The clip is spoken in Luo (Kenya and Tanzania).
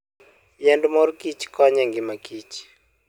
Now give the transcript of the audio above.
Yiend mor kich konyo e ngima kich.